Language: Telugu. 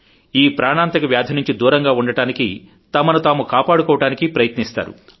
ఈ ప్రాణాంతక వ్యాధి నుంచి దూరంగా ఉండడానికి తమనుతాము కాపాడుకోవడానికి ప్రయత్నిస్తారు